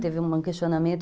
Teve um questionamento.